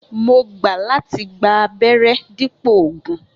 Mo gbà láti gba abéré dípò ògùn